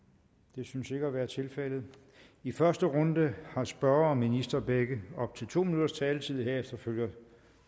det synes ikke at være tilfældet i første runde har spørger og minister begge op til to minutters taletid herefter følger